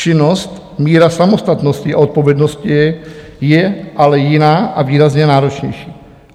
Činnost, míra samostatnosti a odpovědnosti je ale jiná a výrazně náročnější.